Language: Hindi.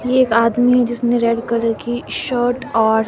ये एक आदमी हैं जिसने रेड कलर की शर्ट और--